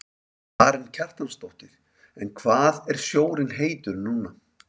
Karen Kjartansdóttir: En hvað er sjórinn heitur núna?